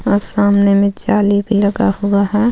और सामने में जाली भी लगा हुआ है.